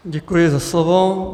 Děkuji za slovo.